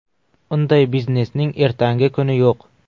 Unday biznesning ertangi kuni yo‘q.